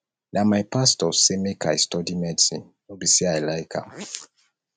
na my pastor sey sey make i study medicine no be sey i like am